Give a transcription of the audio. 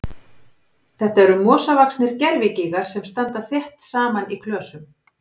Þetta eru mosavaxnir gervigígar sem standa þétt saman í klösum.